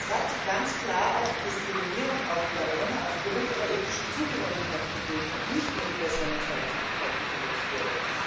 Es hat ganz klar auch Diskriminierung der Roma aufgrund ihrer ethnischen Zugehörigkeit gegeben, und es war nicht nur die Personenfreizügigkeit, die verletzt wurde.